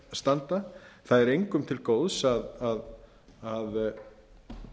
standa það er engum til góðs að